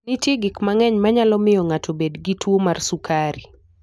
Nitie gik mang'eny manyalo miyo ng'ato obed gi tuwo mar sukari.